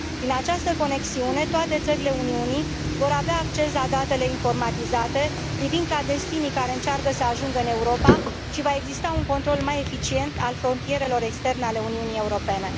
Prin această conexiune, toate țările Uniunii vor avea acces la datele informatizate privind clandestinii care încearcă să ajungă în Europa și va exista un control mai eficient al frontierelor externe ale Uniunii Europene.